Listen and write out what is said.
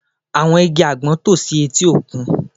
Àwọn igi àgbọn tò si etí òkun